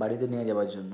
বাড়িতে নিয়ে যাবার জন্য